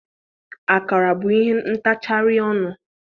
Akara bụ ihe ntachari ọnụ.